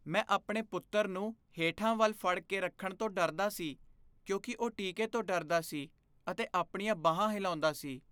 ਮੈਂ ਆਪਣੇ ਪੁੱਤਰ ਨੂੰ ਹੇਠਾਂ ਵੱਲ ਫੜ ਕੇ ਰੱਖਣ ਤੋਂ ਡਰਦਾ ਸੀ ਕਿਉਂਕਿ ਉਹ ਟੀਕੇ ਤੋਂ ਡਰਦਾ ਸੀ ਅਤੇ ਆਪਣੀਆਂ ਬਾਹਾਂ ਹਿਲਾਉਂਦਾ ਸੀ।